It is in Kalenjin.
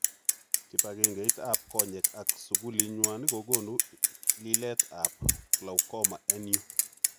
Kipagengeit ap konyek ag sugulinywan kogonu lilet ap glaucoma en yu.